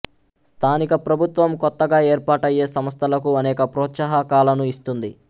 స్థానిక ప్రభుత్వం కొత్తగా ఏర్పాటయ్యే సంస్థలకు అనేక ప్రోత్సాహకాలను ఇస్తుంది